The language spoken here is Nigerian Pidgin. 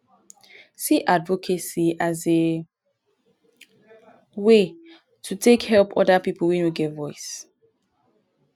see advocacy as a way to take help oda pipo wey no get voice